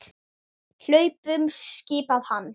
Hlaupum skipaði hann.